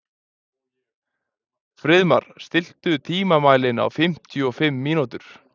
Friðmar, stilltu tímamælinn á fimmtíu og fimm mínútur.